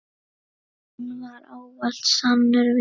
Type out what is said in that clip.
Hún var ávallt sannur vinur.